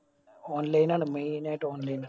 online ആണ്. main ആയിട്ട് online